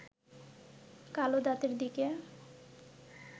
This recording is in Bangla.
কালো দাঁতের দিকে